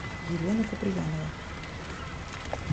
елена куприянова